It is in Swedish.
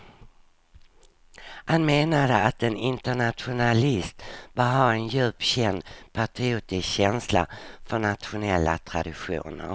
Han menade att en internationalist bör ha en djupt känd patriotisk känsla för nationella traditioner.